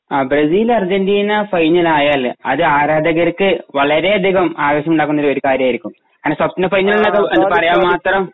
ആ Brazil Argentina final ആയാല് അത് ആരാധകർക്ക് വളരെയധികം ആവേശമുണ്ടാക്കുന്ന ഒരു കാര്യമായിരിക്കും അങ്ങനെ സ്വപ്ന ഫൈനൽ എന്നൊക്കെ പറയാൻ മാത്രം